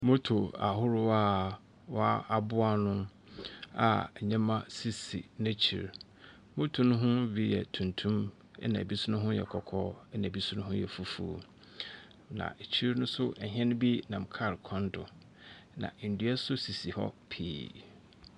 Moto ahorow a wɔ aboa nu a nneɛma sisi n'akyir. Moto no be ho yɛ tuntum ena ebinom kɔkɔɔ ɛna ebi nso fufuw na akyir nso ɛhɛn be nam kaal kwan do ena nam n'dua esisi pii.